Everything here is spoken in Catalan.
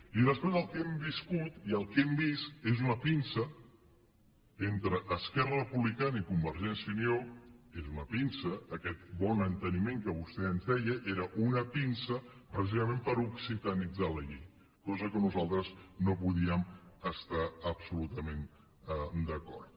i després el que hem viscut i el que hem vist és una pinça entre esquerra republicana i convergència i unió és una pinça aquest bon enteniment que vostè ens deia era una pinça precisament per occitanitzar la llei cosa amb què nosaltres no podíem estar absolutament d’acord